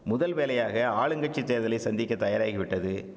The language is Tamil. முதல்வேலையாக ஆளுங்கட்சி தேர்தலை சந்திக்க தயாராகிவிட்டது